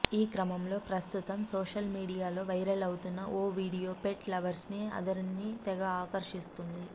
ఈ క్రమంలో ప్రస్తుతం సోషల్ మీడియా లో వైరలవుతోన్న ఓ వీడయో పెట్ లవర్స్ అందరిని తెగ ఆకర్షిస్తోంది